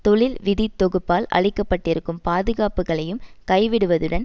தொழில் விதி தொகுப்பால் அளிக்கப்பட்டிருக்கும் பாதுகாப்புக்களையும் கை விடுவதுடன்